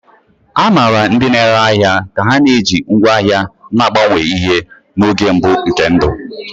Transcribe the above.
A maara ndị na-ere ahịa ka ha na-eji ngwá ahịa na-agbanwe ihe n'oge mbụ nke ndụ.